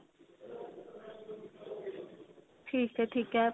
ਠੀਕ ਏ ਠੀਕ ਏ